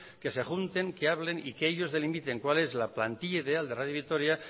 que se junten que hablen y que ellos delimiten cuál es la plantilla ideal de radio vitoria